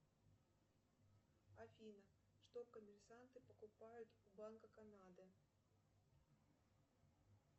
афина что коммерсанты покупают у банка канады